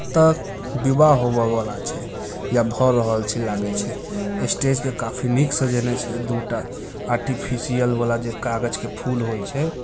ऐता विवाह होबे वला छई या भौ रहल छै लागई छै स्टेज के काफी निक सजेने छई छै दूटा आर्टिफिशियल वाला जे कागज के फुल होय छै।